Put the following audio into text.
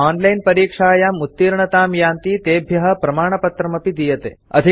ये ओनलाइन् परीक्षायां उत्तीर्णतां यान्ति तेभ्य प्रमाणपत्रमपि दीयते